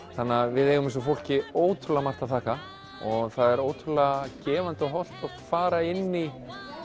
við eigum þessu fólki ótrúlega margt að þakka og það er ótrúlega gefandi og hollt fara inn í